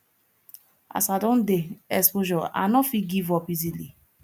as i don dey exposure i no fit give up easily